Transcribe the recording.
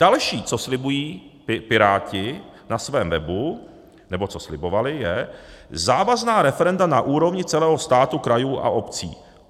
Další, co slibují Piráti na svém webu, nebo co slibovali, je - závazná referenda na úrovni celého státu, krajů a obcí.